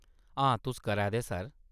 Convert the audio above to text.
हां तुस करै दे, सर।